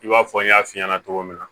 I b'a fɔ n y'a f'i ɲɛna cogo min na